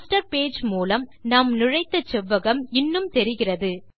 master page மூலம் நாம் நுழைத்த செவ்வகம் இன்னும் தெரிகிறது